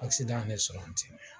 yene sɔrɔ